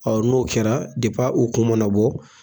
Ɔ n'o kɛra a u kun mana bɔ.